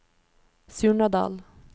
Surnadal